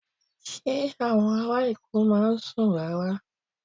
Ṣé àwọn ará Èkó máa ń sùn rárá?